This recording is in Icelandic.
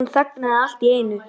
Hann þagnaði allt í einu.